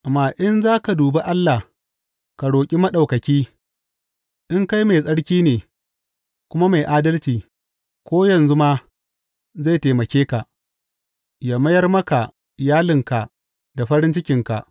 Amma in za ka dubi Allah ka roƙi Maɗaukaki, in kai mai tsarki ne, kuma mai adalci, ko yanzu ma zai taimake ka, yă mayar maka iyalinka da farin cikinka.